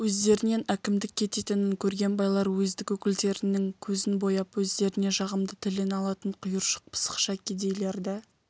өздерінен әкімдік кететінін көрген байлар уездік өкілдерінің көзін бояп өздеріне жағымды тілін алатын құйыршық пысықша кедейлерді